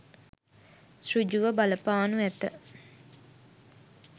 සෘජු ව බලපානු ඇත.